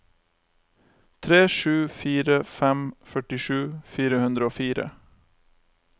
tre sju fire fem førtisju fire hundre og fire